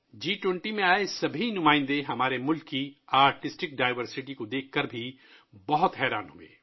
جی 20 میں آنے والا ہر نمائندہ ہمارے ملک کے فنی تنوع کو دیکھ کر حیران رہ گیا